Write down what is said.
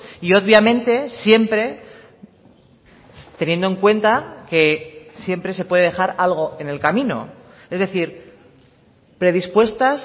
y obviamente siempre teniendo en cuenta que siempre se puede dejar algo en el camino es decir predispuestas